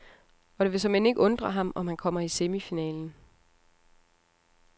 Og det vil såmænd ikke undre ham, om han kommer i semifinalen.